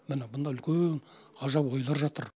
міні бұнда үлкен ғажап ойлар жатыр